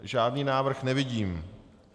Žádný návrh nevidím.